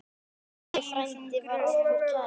Halli frændi var okkur kær.